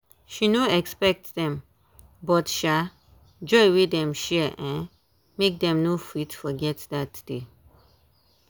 she no expect dem but um joy wey dem share um make dem no fit forget dat day.